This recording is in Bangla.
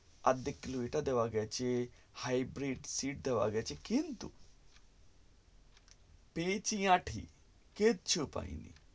আর্ধেক কিলো এটা দেওয়া গেছে hightvit দেওয়া গেছে কিন্তু পেয়েছি আঠি কিছু পাইনি